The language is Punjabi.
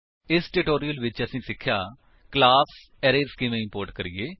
ਇਸ ਟਿਊਟੋਰਿਅਲ ਵਿੱਚ ਅਸੀਂ ਸਿੱਖਿਆ ਕਲਾਸ ਅਰੇਜ਼ ਕਿਵੇਂ ਇੰਪੋਰਟ ਕਰੀਏ